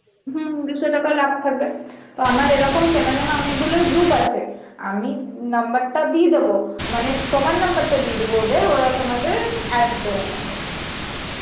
হম দু'শো টাকা লাভ থাকবে, তো আমার এরকম চেনা জানা অনেকগুলোই group আছে আমি number টা দিয়ে দোবো, মানে তোমার number টা দিয়ে দব ওদেরওরা তোমাদের add করে নেবে